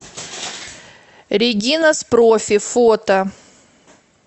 регинас профи фото